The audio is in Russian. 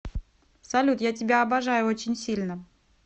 салют я тебя обожаю очень сильно